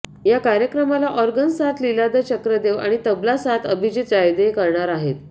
या कार्यक्रमाला ऑर्गन साथ लीलाधर चक्रदेव आणि तबला साथ अभिजित जायदे करणार आहेत